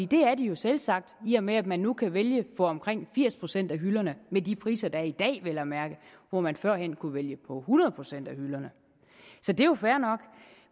det er de jo selvsagt i og med at man nu kan vælge på omkring firs procent af hylderne med de priser der er i dag vel at mærke hvor man førhen kunne vælge på hundrede procent af hylderne så det er jo fair nok